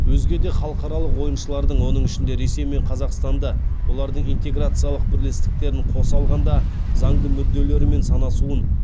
өзге де халықаралық ойыншылардың оның ішінде ресей мен қазақстанды олардың интеграциялық бірлестіктерін қоса алғанда заңды мүдделерімен санасуын